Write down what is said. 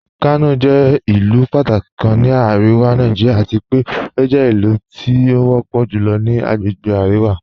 Kanọ jẹ̀ ilu pàtàkí kàn ní Aríwá Nàìjíríà àti pẹ̀ o jẹ̀ ilu tí o pọ̀ julọ ni àgbègbè Aríwá.